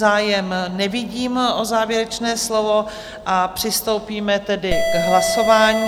Zájem nevidím o závěrečná slovo, a přistoupíme tedy k hlasování.